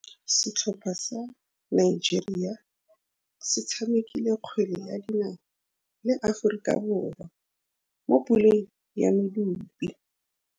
Setlhopha sa Nigeria se tshamekile kgwele ya dinaô le Aforika Borwa mo puleng ya medupe.